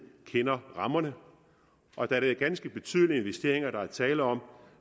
kender rammerne og da det er ganske betydelige investeringer der er tale om